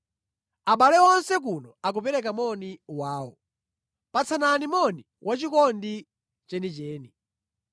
Abale onse kuno akupereka moni wawo. Patsanani moni wachikondi chenicheni.